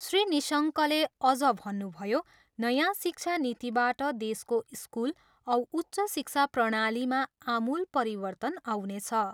श्री निशङ्कले अझ भन्नुभयो, नयाँ शिक्षा नीतिबाट देशको स्कुल औ उच्च शिक्षा प्रणालीमा आमूल परिवर्तन आउनेछ।